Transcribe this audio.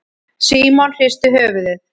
Símon hristi höfuðið.